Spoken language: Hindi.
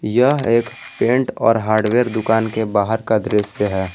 यह एक पेंट और हार्डवेयर दुकान के बाहर का दृश्य है।